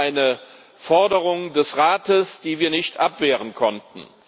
Das war eine Forderung des Rates, die wir nicht abwehren konnten.